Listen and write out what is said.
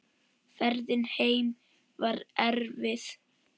Ferðin heim var erfið.